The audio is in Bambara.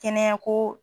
Kɛnɛya ko